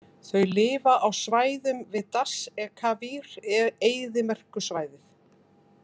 Þau lifa á svæðum við Dasht-e-Kavir-eyðimerkursvæðið.